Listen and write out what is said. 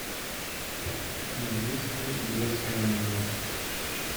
есть ли детское меню